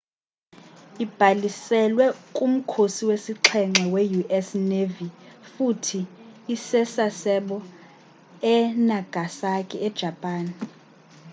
ibhaliselwe kumkhosi wesixhenxe we-us navy futhi ise-sasebo e-nagasaki e-japan